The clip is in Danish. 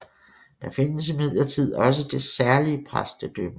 Der findes imidlertid også det særlige præstedømme